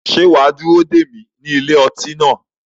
Ṣé wà á dúró dè mí ní ilé ọtí náà?